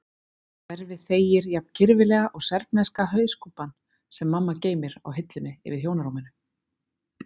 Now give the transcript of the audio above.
Hverfið þegir jafn kirfilega og serbneska hauskúpan sem mamma geymir á hillunni yfir hjónarúminu.